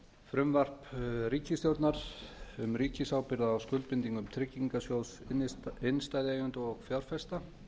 frumvarp ríkisstjórnar um ríkisábyrgð á skuldum gegnum tryggingarsjóð innstæðueiganda og fjárfesta